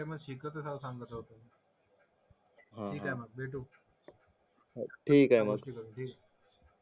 मग शिकत राहू चांगला ठीके मग